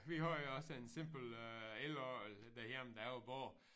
Vi har jo også en simpel øh elorgel derhjemme da jeg var barn